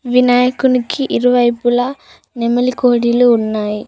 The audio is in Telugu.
వినాయకునికి ఇరువైపులా నెమలి కోడిలు ఉన్నాయి.